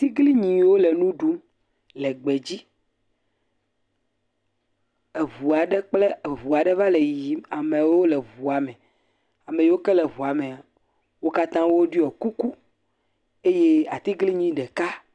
Tiglinyiwo le nu ɖum le gbedzi, eŋua ɖe kple eŋu aɖe va le yiyim, amewo le ŋua mea, ame yiwo ke le ŋua mea, wo katã woɖɔ kuku eye atiglinyi ɖeka.